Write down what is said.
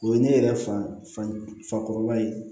O ye ne yɛrɛ fakɔrɔba ye